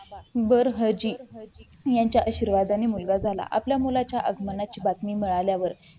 वर हीज यांच्या आशीर्वादाने मुलगा झाला आपल्या मुलाच्या आगमनाची बातमी मिळाल्यावर